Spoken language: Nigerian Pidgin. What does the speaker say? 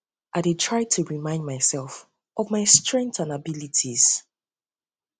i dey try to remind myself of my strengths and abilities um